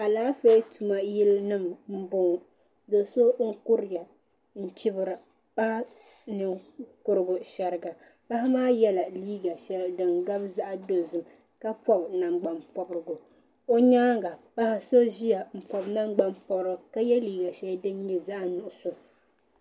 Alaafee tuma yili nima n bɔŋɔ doo so n kuriya n chibiri paɣa ninkurigu shɛriga paɣa maa ye la liiga shɛli dini gabi zaɣi dozim ka pɔbi nangbanyini pɔbirigu o yɛanga paɣa so ziya n pɔbi nangbani pɔbira ka ye liiga shɛli dini nyɛ zaɣi nuɣiso.